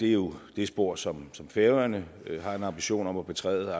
er jo det spor som færøerne har en ambition om at betræde